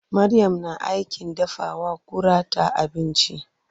Maryam na aikin dafawa kurata abinci.